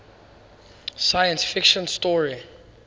science fiction story